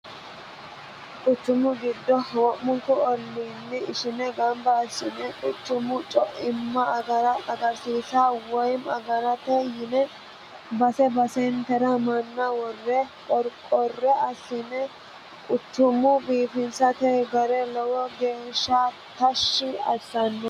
Quchumu giddo wo'munku olliini ishine gamba assine quchumu coichima agarsiisate woyi agarate yine base basentera manna worre qorqore assine quchuma biifinsanni gari lowo geeshsha tashi assanoho .